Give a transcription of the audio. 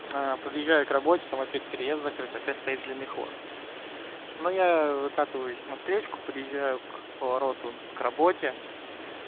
подъезжаю к работе там опять переезд закрыт опять стоит длинный хвост но я выкатываюсь на встречку подъезжаю к повороту к работе